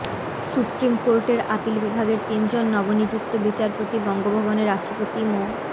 supreme কোর্টের appeal বিভাগের তিনজন নবনিযুক্ত বিচারপতি বঙ্গভবনে রাষ্ট্রপতি মো